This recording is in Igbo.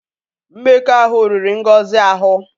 Mmekọahụ riri Ngozi ahụ.